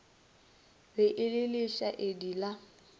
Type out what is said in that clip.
be e le lešaedi la